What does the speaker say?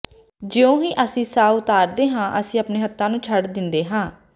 ਜਿਉਂ ਹੀ ਅਸੀਂ ਸਾਹ ਉਤਾਰਦੇ ਹਾਂ ਅਸੀਂ ਆਪਣੇ ਹੱਥਾਂ ਨੂੰ ਛੱਡ ਦਿੰਦੇ ਹਾਂ